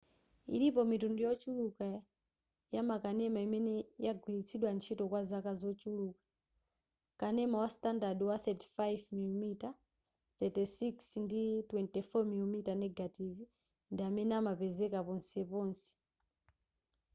ilipo mitundu yochuluka yamakanema imene yagwiritsidwa ntchito kwa zaka zochuluka. kanema wa standard wa 35 mm 36 ndi 24 mm negative ndi amene amapezeka ponseponse